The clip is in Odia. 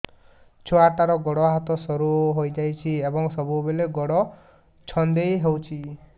ଛୁଆଟାର ଗୋଡ଼ ହାତ ସରୁ ହୋଇଯାଇଛି ଏବଂ ସବୁବେଳେ ଗୋଡ଼ ଛଂଦେଇ ହେଉଛି